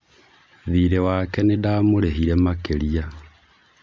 thirĩ wake nĩndamũrĩhire makĩria